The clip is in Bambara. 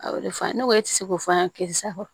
A ye o de fɔ ne ko e ti se k'o fɔ an ye karisa kɔ